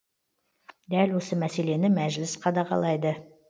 дәл осы мәселені мәжіліс қадағалайды